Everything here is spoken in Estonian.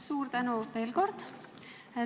Suur tänu veel kord!